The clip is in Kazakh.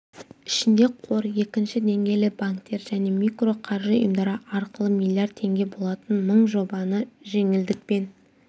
ішінде қор екінші деңгейлі банктер және микроқаржы ұйымдары арқылы миллиард теңге болатын мың жобаны жеңілдікпен